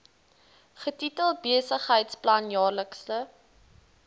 getitel besigheidsplan jaarlikse